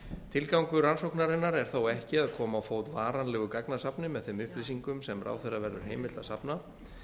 tilgangur rannsóknarinnar er þó ekki að koma á fót varanlegu gagnasafni með þeim upplýsingum sem ráðherra verður heimilt að safna